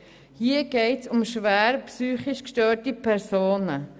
Hier geht es um schwer psychisch gestörte Personen.